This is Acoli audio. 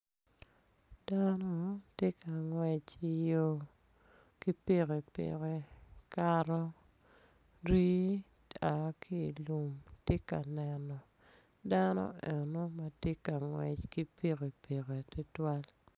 Dano tye ka ngwec i yo ki pikipiki kara rii oa kilum tye ka neno dano eno matye ngwec ki pikipiki tutwal.